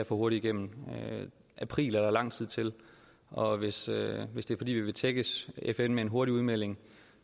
for hurtigt igennem april er der lang tid til og hvis hvis det er fordi vi vil tækkes fn med en hurtig udmelding